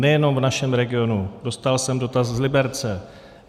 Nejenom v našem regionu, dostal jsem dotaz z Liberce.